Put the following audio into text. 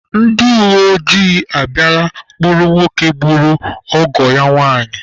Ndi uweojii abịala kpụrụ nwoke gburu ọgọ ya nwanyị.